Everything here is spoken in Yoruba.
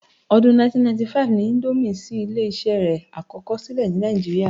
Ọdún 1995 ni índómì ṣí ilé-iṣé rẹ̀ àkọ́kọ́ sílẹ̀ ni Nàìjíríà